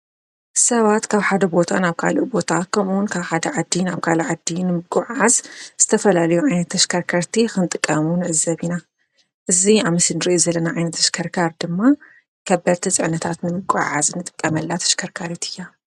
ሰባት ካብ ሓደ ቦታ ናብ ካልእ ቦታኸምውን ካብ ሓደ ዓዲ ናብ ካልእ ዓዲ ንምጐዓዓዝ ዝተፈላልዮ ኣይነት ተሽከርከርቲ ኽንጥቀሙ ንዕዘብ ኢና። እዙይ ኣብ ምስሊ እንርእዮ ዘለና ኣይነት ተሽከርካር ድማ ከበድቲ ጽዕነታት ንምጉዓዓዝ ንጥቀመላ ተሽከርካርት እያ።